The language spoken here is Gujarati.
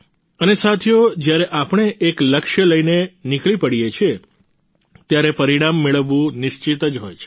અને સાથીઓ જ્યારે આપણે એક લક્ષ્ય લઈને નીકળી પડીએ છીએ ત્યારે પરિણામ મળવું નિશ્ચિત જ હોય છે